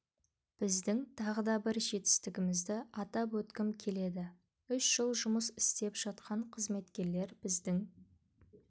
біздің тағы да бір жетістігімізді атап өткім келеді үш жыл жұмыс істеп жатқан қызметкерлер біздің